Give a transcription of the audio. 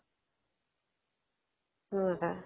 সেনেকে